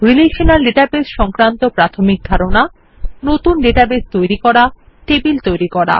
relational Database সংক্রান্ত প্রাথমিক ধারণা নতুন ডেটাবেস তৈরি করা টেবল তৈরি করা